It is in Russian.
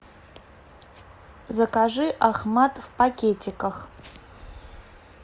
закажи ахмад в пакетиках